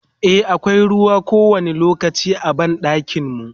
e akwai ruwa kowani lokaci a banɗakin mu